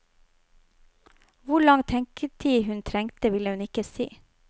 Hvor lang tenketid hun trengte, ville hun ikke si.